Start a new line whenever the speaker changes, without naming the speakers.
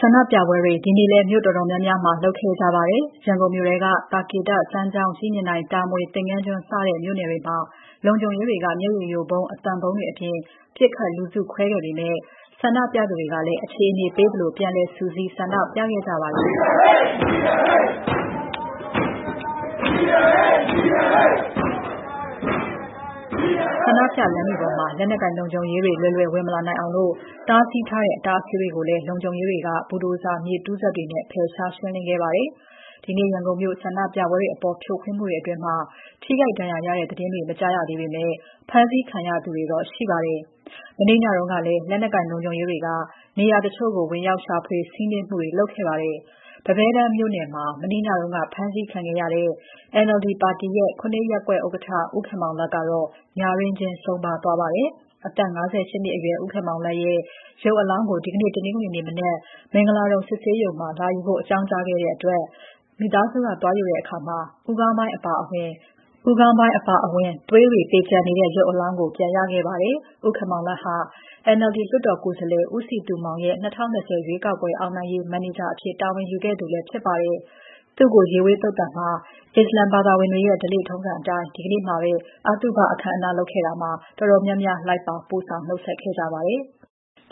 ဆန္ဒပြပွဲတွေ ဒီနေ့လည်း မြို့တော်တော်များများလုပ်ခဲ့ကြပါတယ်။ ရန်ကုန်မြို့ထဲက သာကေတ၊ စမ်းချောင်း၊ ကြည့်မြင်တိုင်၊ တာမွေ၊ သင်္ကန်းကျွန်း စတဲ့မြို့နယ်တွေမှာ လုံခြုံရေးတွေက မျက်ရည်ယိုဗုံး၊ အသံဗုံးတွေအပြင် ပစ်ခတ်လူစုခွဲပေမဲ့ ဆန္ဒပြသူတွေကလည်း အခြေအနေပေးသလို ပြန်လည် စုစည်း ဆန္ဒပြခဲ့ကြပါတယ်။ ဆန္ဒပြလမ်းတွေပေါ်မှာ လက်နက်ကိုင်လုံခြုံရေးတွေ လွယ်လွယ်ဝင်မလာနိုင်အောင် တားဆီးထားတဲ့ အတား အဆီးတွေကိုလည်း လုံခြုံရေးတွေက ဘူဒိုဇာမြေတူးစက်တွေနဲ့ ဖယ်ရှားရှင်းလင်းခဲ့ပါတယ်။ ဒီနေ့ ရန်ကုန်မြို့ ဆန္ဒပြပွဲတွေအပေါ် ဖြိုခွင်းမှုတွေအတွင်း ထိခိုက်ဒဏ်ရာရတဲ့သတင်းတွေ မကြားရသေးပေမဲ့ ဖမ်းဆီးခံရသူတွေ တော့ ရှိပါတယ်။ မနေ့ညတုန်းကလည်း လက်နက်ကိုင် လုံခြုံရေးတွေက နေရာတချို့ကို ဝင်ရောက်စီးနင်း ရှာဖွေဖမ်းဆီးမှုတွေ လုပ်ခဲ့ပါတယ်။ ပန်းပဲတန်းမြို့နယ်မှာ မနေ့ညက ဖမ်းဆီးခံခဲ့ရတဲ့ NLD ပါတီရဲ့ ၇ ရပ်ကွက်ဥက္ကဋ္ဌ ဦးခင်မောင်လတ်ကတော့ ညတွင်းချင်းဆုံးပါးသွားခဲ့ပါတယ်။ အသက် ၅၈ နှစ်အရွယ် ဦးခင်မောင်လတ်ရဲ့ ရုပ်အလောင်းကို ဒီနေ့ တနင်္ဂနွေနေ့မနက် မင်္ဂလာဒုံစစ်ဆေးရုံမှာ လာယူဖို့ အကြောင်းကြားခဲ့တဲ့အတွက် သွားယူတဲ့အခါ ဦးခေါင်းပိုင်းအပါအဝင် သွေးတွေပေကျန်နေတဲ့ ရုပ်အလောင်းကို ပြန်ရခဲ့ပါတယ်။ ဦးခင်မောင်လတ်ဟာ NLD လွှတ်တော်ကိုယ်စားလှယ် ဦးစည်သူမောင်ရဲ့ ၂၀၂၀ ရွေးကောက်ပွဲ အောင်နိုင်ရေး မန်နေဂျာအဖြစ် တာဝန်ယူခဲ့သူလည်းဖြစ်ပါတယ်။ သူ့ကို ရေဝေးသုဿာန်မှာ အစ္စလာမ်ဘာသာဝင်တွေရဲ့ ဓလေ့အတိုင်း ဒီနေ့မှာပဲ အသုဘအခမ်းအနားလုပ်ခဲ့တာမှာ တော်တော်များများ လိုက်ပါပို့ဆောင် နှုတ်ဆက်ခဲ့ကြပါတယ်။